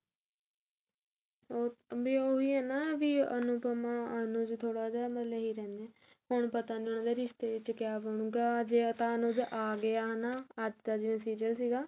ਉਹ ਵੀ ਉਹੀ ਹੈ ਨਾ ਅਨੁਪਮਾ ਅਨੂ ਚ ਥੋੜਾ ਜਾ ਮਤਲਬ ਇਹੀ ਰਹਿੰਦਾ ਹੁਣ ਪਤਾ ਨੀ ਉਹਦੇ ਰਿਸ਼ਤੇ ਚ ਕਿਆ ਬ੍ਣੁਗਾ ਜੇ ਤਾਂ ਅਨੁਜ ਆ ਗਿਆ ਅੱਜ ਦਾ ਜਿਵੇਂ serial ਸੀਗਾ